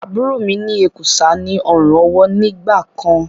Àbúrò mi ní èkùsá ní ọrùn ọwó nígbàkan.